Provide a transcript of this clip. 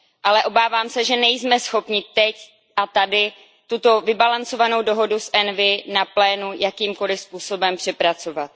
Ale obávám se, že nejsme schopni teď a tady tuto vybalancovanou dohodu z výboru ENVI na plénu jakýmkoli způsobem přepracovat.